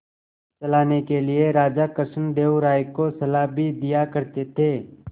चलाने के लिए राजा कृष्णदेव राय को सलाह भी दिया करते थे